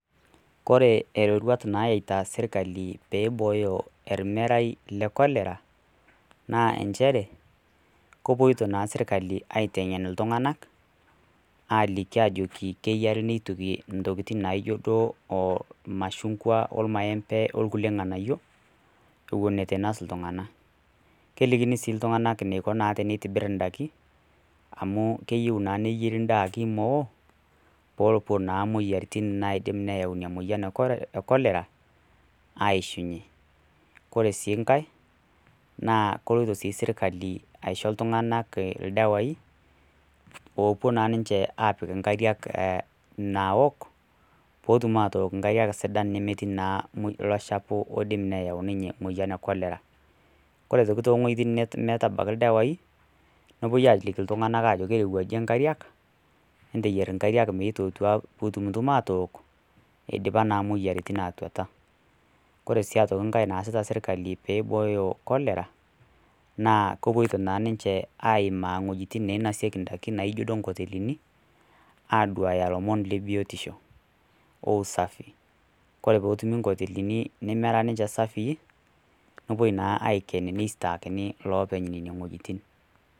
Kore iroruat naayaita serkali pee eibooyo ermerai le Cholera, naa enchere, kepuoita naa sekali aiteng'en iltung'ana ajoki keyare neituki intokitin naijo duo ilmashungwa, olmaembe o lkulie ng'anayo ewuen eitu einos iltung'ana . Kelikini sii iltung'ana eneiko naa pee eitibir indaiki, amu keyou naa neyieri endaaki meoo, pee ewuo naa imoyiaritin naidim naa ayautu ina moyian e Cholera, aishunye. Kore sii nkai, naa keloito sii sirkali aisho iltung'ana ildawai, oopuo naaa ninye apik inkariak naook, pootum aaok nkariak sidan nemetii naa ilo shafu oidim naa neyau ninye emoyian e Cholera. Kore aitoki iwuetin neitu ebaiki ildawai, nepuoi aaliki iltung'ana ajoki eirowuaje nkariak, enteyier inkariak meitukutua pee itumutumu atook, eidipa naa imoyiaritin naa atuata. kore sii nkai naasita serkali pee eibooyo Cholera , naa kepuoita naa ninche aimaa iwuetin naa nainasieki indaiki naijo sii inkoteleni, aduaaya ilomon le biotiisho o usafii, kore pee etumi inkotelini neemera ninche safiin, nepuoi naa aiken, neisitaakini iloopeny le neine wueitin.